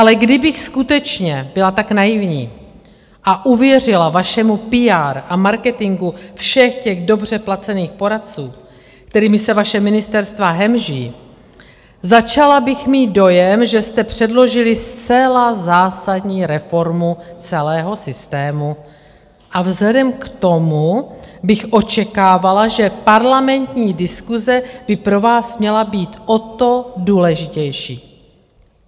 Ale kdybych skutečně byla tak naivní a uvěřila vašemu PR a marketingu všech těch dobře placených poradců, kterými se vaše ministerstva hemží, začala bych mít dojem, že jste předložili zcela zásadní reformu celého systému a vzhledem k tomu bych očekávala, že parlamentní diskuse by pro vás měla být o to důležitější.